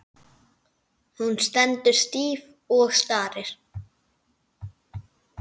Hún stendur stíf og starir.